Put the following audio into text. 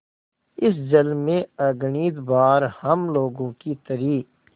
इस जल में अगणित बार हम लोगों की तरी